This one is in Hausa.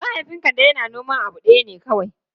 Mahaifin Kande yana noman abu ɗaya ne kawai.